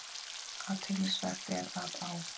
Athyglisvert er að á